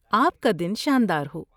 آپ کا دن شاندار ہو!